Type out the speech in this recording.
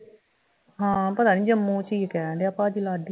ਹਾਂ ਪਤਾ ਨਹੀਂ ਜੰਮੂ ਚ ਈ ਕਹਿਣ ਡੇਆ ਭਾਜੀ ਲਾਡੀ